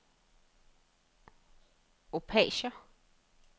Opager